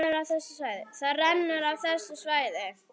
Það rennur af þessu svæði.